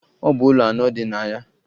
Ọ bụ ụlọ anọ dị na ya.